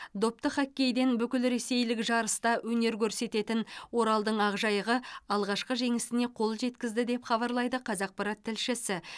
допты хоккейден бүкілресейлік жарыста өнер көрсететін оралдың ақжайығы алғашқы жеңісіне қол жеткізді деп хабарлайды қазақпарат тілшісі